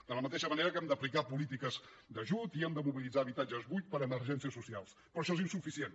de la mateixa manera que hem d’aplicar polítiques d’ajut i hem de mobilitzar habitatges buits per a emergències socials però això és insuficient